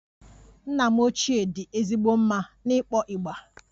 Nna m ochie dị ezigbo mma n'ịkpọ igba